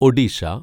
Odisha